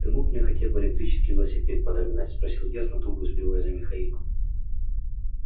ты мог мне хотя бы электрический велосипед подогнать спросил я с натугой успевая за михаилом